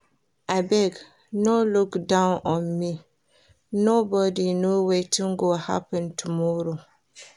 Abeg no look down on me, nobody know wetin go happen tomorrow